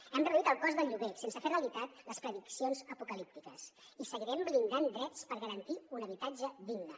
hem reduït el cost del lloguer sense fer realitat les prediccions apocalíptiques i seguirem blindant drets per garantir un habitatge digne